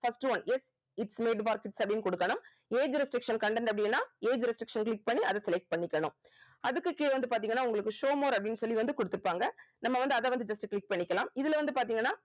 first one yes its made for kids அப்படின்னு குடுக்கணும் age restriction content அப்படின்னா age restriction click பண்ணி அதை select பண்ணிக்கணும் அதுக்கு கீழ வந்து பாத்தீங்கன்னா உங்களுக்கு show more அப்படின்னு சொல்லி வந்து குடுத்திருப்பாங்க நம்ம வந்து அதை வந்து just click பண்ணிக்கலாம் இதுல வந்து பார்த்தீங்கன்னா